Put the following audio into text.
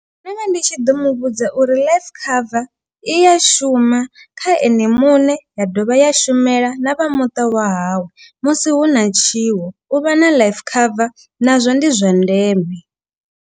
Ndo vha ndi tshi ḓo muvhudza uri life cover i ya shuma. Kha ene muṋe ya dovha ya shumela na vha muṱa wa hawe musi hu na tshiwo. U vha na life cover nazwo ndi zwa ndeme.